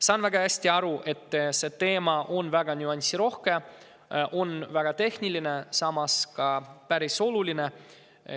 Saan väga hästi aru, et see teema on nüansirohke ja väga tehniline, samas on see päris oluline.